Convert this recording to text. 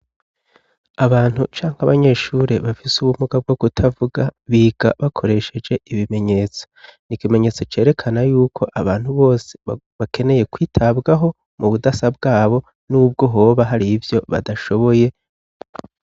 Abantu canke abanyeshuri bafise ubumuga bwo kutavuga, biga bakoresheje ibimenyetso. N'ikimenyetso cerekana yuko abantu bose bakeneye kwitabwaho mu budasa bwabo n'ubwo hoba hari ivyo badashoboye.